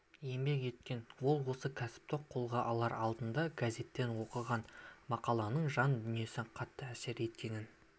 еңбек еткен ол осы кәсіпті қолға алар алдында газеттен оқыған мақаланың жан-дүниесіне қатты әсер еткенін